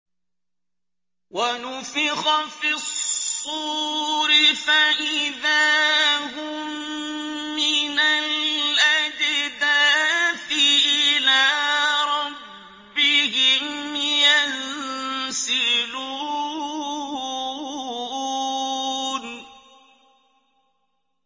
وَنُفِخَ فِي الصُّورِ فَإِذَا هُم مِّنَ الْأَجْدَاثِ إِلَىٰ رَبِّهِمْ يَنسِلُونَ